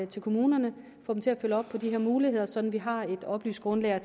til kommunerne og få dem til at følge op på de her muligheder så vi har et oplyst grundlag at